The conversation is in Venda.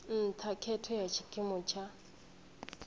nṱha khetho ya tshikimu tsha